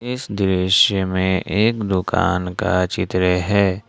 इस दृश्य में एक दुकान का चित्र है।